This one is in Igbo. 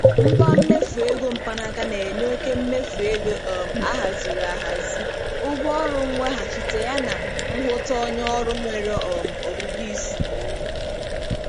Ngwa mmefu ego mkpanaaka na-enye oke mmefu ego um ahaziri ahazi, ụgwọ ọrụ mweghachite yana nhụta onye ọrụ nwere um ọgụgụ isi.